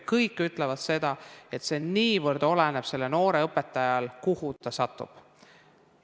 Kõik ütlevad seda, et see niivõrd oleneb sellest, kuhu see noor õpetaja satub.